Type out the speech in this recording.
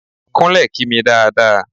Kúnlẹ̀ kí mi dáa dáa!